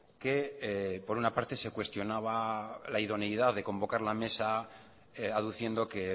que por una parte se cuestionaba la idoneidad de convocar la mesa aduciendo que